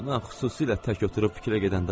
Ona xüsusilə tək oturub fikirə gedəndə baxın.